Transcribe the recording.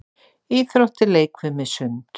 Íþróttir- leikfimi- sund